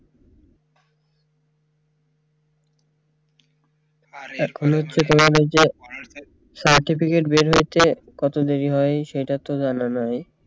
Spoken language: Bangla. এই যে certificate বের হয়েছে কত দেরি হয় সেইটা তো জানা নাই